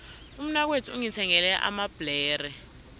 umnakwethu ungithengele amabhlere